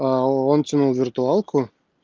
он тянул виртуалку